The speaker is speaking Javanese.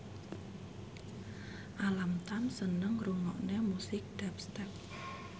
Alam Tam seneng ngrungokne musik dubstep